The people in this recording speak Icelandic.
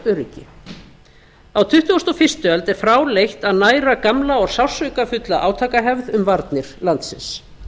öryggi á tuttugustu og fyrstu öld er fráleitt að næra gamla og sársaukafulla átakahefð um varnir landsins